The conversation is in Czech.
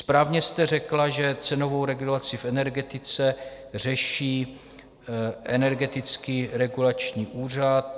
Správně jste řekla, že cenovou regulaci v energetice řeší Energetický regulační úřad.